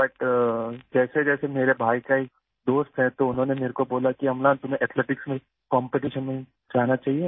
لیکن جیسا کہ میرے بھائی کے دوست نے مجھے بتایا کہ املان آپ کو ایتھلیٹکس کے مقابلوں کے لیے جانا چاہیے